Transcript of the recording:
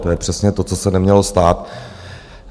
To je přesně to, co se nemělo stát.